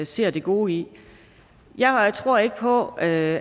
ser det gode i jeg tror ikke på at